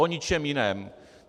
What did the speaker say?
O ničem jiném.